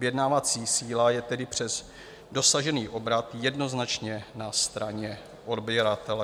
Vyjednávací síla je tedy přes dosažený obrat jednoznačně na straně odběratele.